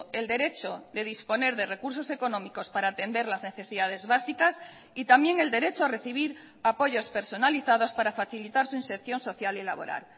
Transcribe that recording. el derecho de disponer de recursos económicos para atender las necesidades básicas y también el derecho a recibir apoyos personalizados para facilitar su inserción social y laboral